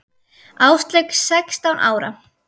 Áslaug sextán ára.